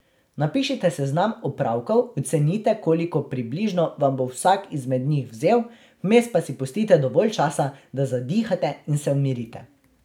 Napišite seznam opravkov, ocenite, koliko približno vam bo vsak izmed njih vzel, vmes pa si pustite dovolj časa, da zadihate in se umirite.